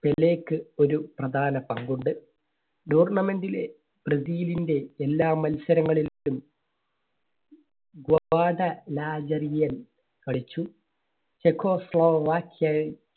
പെലെയ്ക്ക് ഒരു പ്രധാന പങ്ക് ഉണ്ട്. tournament ലെ ബ്രസീലിന്റെ എല്ലാ മത്സരങ്ങളിലും കളിച്ചു. ചെക്കോസ്ലോവാക്കിയ